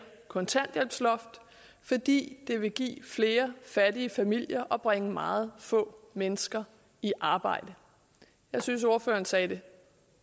kontanthjælpsloft fordi det vil give flere fattige familier og bringe meget få mennesker i arbejde jeg synes at ordføreren sagde det